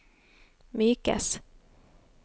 mykes